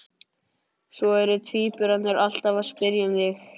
Svo eru tvíburarnir alltaf að spyrja um þig